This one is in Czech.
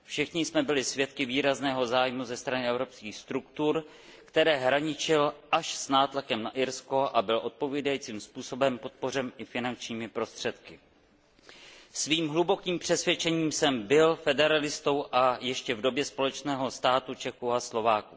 Všichni jsme byli svědky výrazného zájmu ze strany evropských struktur, který až hraničil s nátlakem na Irsko a který byl odpovídajícím způsobem podpořen i finančními prostředky. Svým hlubokým přesvědčením jsem byl federalistou, a to ještě v době společného státu Čechů a Slováků.